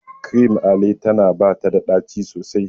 Cream Ale tana bata da daci sosai.